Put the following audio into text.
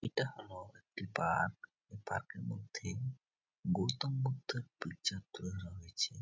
ইটা হল একটি পার্ক এই পার্ক এর মধ্যেই গৌতম বুদ্ধের পিকচার তুলে ধরা হয়েছে।